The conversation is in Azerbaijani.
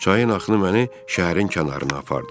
Çayın axını məni şəhərin kənarına apardı.